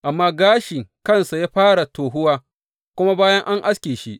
Amma gashi kansa ya fara tohuwa kuma bayan an aske shi.